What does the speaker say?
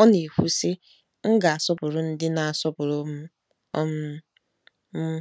Ọ na-ekwu, sị: “ M ga-asọpụrụ ndị na-asọpụrụ m um. m